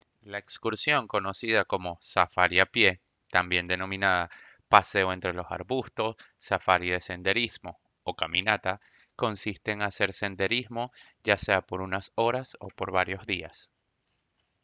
la excursión conocida como safari a pie también denominada «paseo entre los arbustos» «safari de senderismo» o «caminata» consiste en hacer senderismo ya sea por unas horas o por varios días